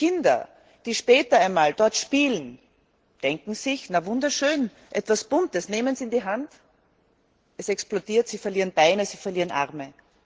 Kinder, die später einmal dort spielen, denken sich, na wunderschön, etwas Buntes, sie nehmen es in die Hand, es explodiert, sie verlieren Beine und Arme.